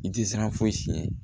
I tɛ siran foyi siɲɛ